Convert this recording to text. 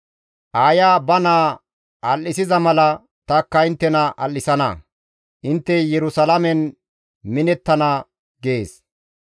Aaya ba naa al7isiza mala takka inttena al7isana; intte Yerusalaamen minettana» gees.